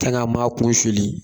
Tang'a ma' kun suli